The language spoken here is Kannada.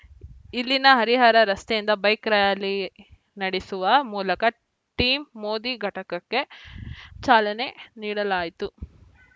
ಇಲ್ಲಿನ ಹರಿಹರ ರಸ್ತೆಯಿಂದ ಬೈಕ್‌ ರ್ಯಾಲಿ ನಡೆಸುವ ಮೂಲಕ ಟೀಮ್‌ ಮೋದಿ ಘಟಕಕ್ಕೆ ಚಾಲನೆ ನೀಡಲಾಯಿತು